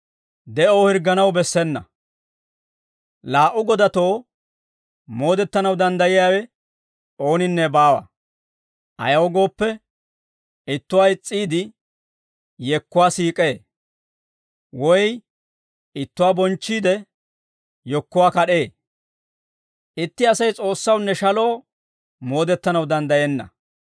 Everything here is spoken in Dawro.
«Laa"u godatoo moodettanaw danddayiyaawe ooninne baawa; ayaw gooppe, ittuwaa is's'iide, yekkuwaa siik'ee; woy ittuwaa bonchchiidde, yekkuwaa kad'ee; itti Asay S'oossawunne shaloo moodettanaw danddayenna.